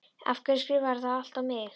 Af hverju skrifarðu það allt á mig?